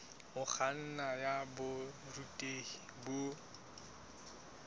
ho kganna ya borutehi bo